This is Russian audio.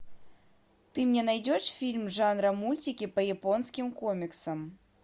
ты мне найдешь фильм жанра мультики по японским комиксам